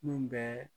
Mun bɛɛ